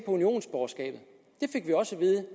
unionsborgerskabet